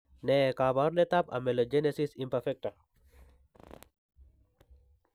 Ne kaabarunetap amelogenesis imperfecta?